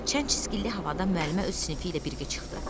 Çənçiskilli havada müəllimə öz sinifi ilə birgə çıxdı.